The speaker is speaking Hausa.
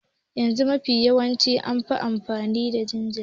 Yanzu kuma mafi yawanci da famfas ake amfani ma jinjiri.